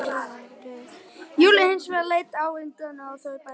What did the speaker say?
Júlía hins vegar leit ávítandi á þau bæði